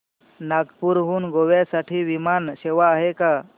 नागपूर हून गोव्या साठी विमान सेवा आहे का